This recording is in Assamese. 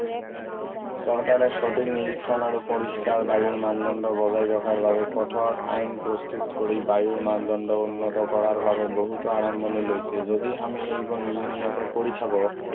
চৰকাৰে সঠিক নিৰীক্ষণ আৰু পৰিস্কাৰ বায়ুৰ মানদণ্ড বজাই ৰখাৰ বাবে কঠোৰ আইন প্ৰস্তুত কৰি বায়ুৰ মানদণ্ড উন্নত কৰাৰ বাবে বহুতো আৰম্ভণি লৈছে যদি আমি এইবোৰ নিয়মীয়াকৈ কৰি থাকো